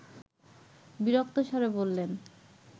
বিরক্ত স্বরে বললেন